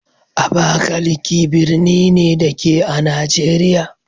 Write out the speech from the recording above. Abakalaki birni ne, da ke a Najeriya